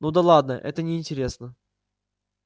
ну да ладно это неинтересно